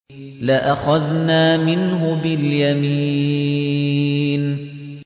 لَأَخَذْنَا مِنْهُ بِالْيَمِينِ